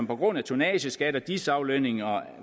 på grund af tonnageskat og dis aflønninger